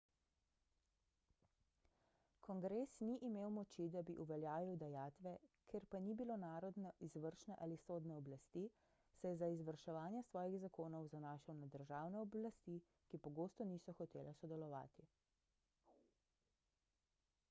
kongres ni imel moči da bi uveljavil dajatve ker pa ni bilo narodne izvršne ali sodne oblasti se je za izvrševanje svojih zakonov zanašal na državne oblasti ki pogosto niso hotele sodelovati